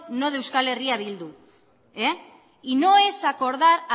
no de euskal herria bildu y no es acordar